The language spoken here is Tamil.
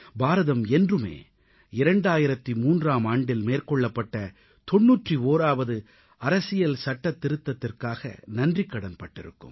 பாரதம் என்றுமே 2003ஆம் ஆண்டில் மேற்கொள்ளப்பட்ட 91ஆவது அரசியல் சட்டத்திருத்தத்திற்காக நன்றிக்கடன் பட்டிருக்கும்